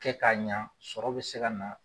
Kɛ k'a ɲa sɔrɔ bi se ka na